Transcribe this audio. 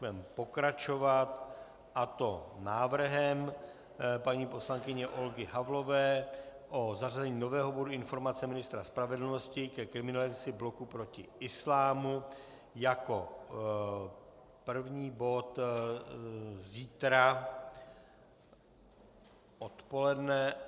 Budeme pokračovat, a to návrhem paní poslankyně Olgy Havlové na zařazení nového bodu Informace ministra spravedlnosti ke kriminalizaci Bloku proti islámu jako první bod zítra odpoledne.